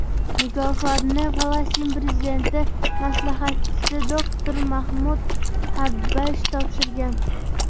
Mukofotni Falastin prezidenti maslahatchisi doktor Mahmud Xabbash topshirgan.